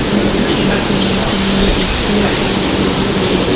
security gun tara hudu monosuk suk aro tarar ligode.